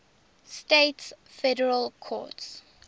states federal courts